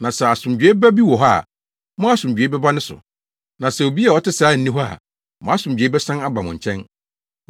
Na sɛ asomdwoe ba bi wɔ hɔ a, mo asomdwoe bɛba ne so; na sɛ obi a ɔte saa nni hɔ a, mo asomdwoe bɛsan aba mo nkyɛn.